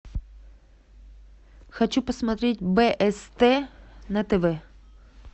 хочу посмотреть бст на тв